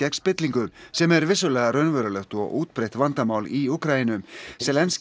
spillingu sem er vissulega raunverulegt og útbreitt vandamál í Úkraínu